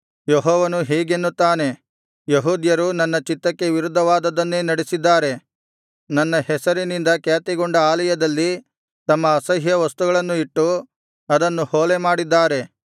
ಯೆಹೋವನು ಹೀಗೆನ್ನುತ್ತಾನೆ ಯೆಹೂದ್ಯರು ನನ್ನ ಚಿತ್ತಕ್ಕೆ ವಿರುದ್ಧವಾದದ್ದನ್ನೇ ನಡೆಸಿದ್ದಾರೆ ನನ್ನ ಹೆಸರಿನಿಂದ ಖ್ಯಾತಿಗೊಂಡ ಆಲಯದಲ್ಲಿ ತಮ್ಮ ಅಸಹ್ಯವಸ್ತುಗಳನ್ನು ಇಟ್ಟು ಅದನ್ನು ಹೊಲೆಮಾಡಿದ್ದಾರೆ